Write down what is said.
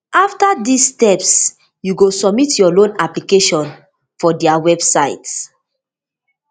afta dis steps you go submit your loan application for dia website